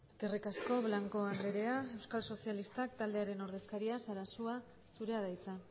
eskerrik asko blanco andrea euskal sozialistak taldearen ordezkaria sarasua zurea da hitza